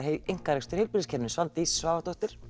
einkarekstur í heilbrigðiskerfinu Svandís Svavarsdóttir